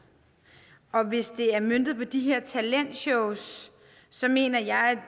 og hvis det er møntet på de her talentshows mener jeg